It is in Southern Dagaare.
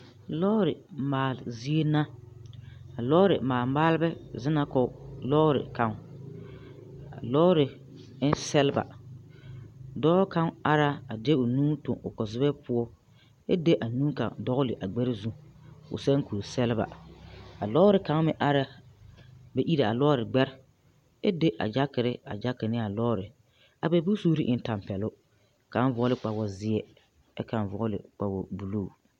Lɔɔre maale zie na a lɔɔre maale maalba zeŋ na kɔg lɔɔre kaŋ a lɔɔre eŋ sɛlba dɔɔ kaŋ ara a de o nu tuŋ o kpazubɛ poɔ ɛ de a nu kaŋ dɔɔle o gbɛruzu o sɛb ne kuriaɛbla a lɔɔre kaŋ mɛ araa be ire a lɔɔre gbɛre ɛ de a jakere a jake naa lɔɔre a bɛ bonsuure en tampɛloŋ kaŋ vɔgle kpawozeɛ ɛ kaŋ vɔɔle kpawobluu.